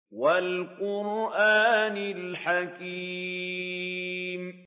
وَالْقُرْآنِ الْحَكِيمِ